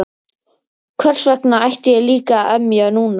Hversvegna ætti ég líka að emja núna?